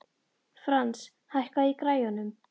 Frans, hækkaðu í græjunum.